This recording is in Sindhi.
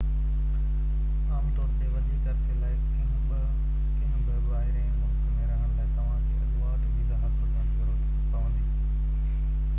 عام طور تي وڌيڪ عرصي لاءِ ڪنهن به ٻاهرين ملڪ ۾ رهڻ لاءِ توهان کي اڳواٽ ويزا حاصل ڪرڻ جي ضرورت پوندي